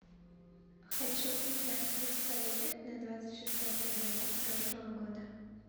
хочу узнать курс валюты на двадцать шестое февраля прошлого года